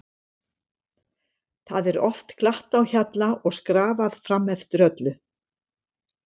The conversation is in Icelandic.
Það er oft glatt á hjalla og skrafað fram eftir öllu.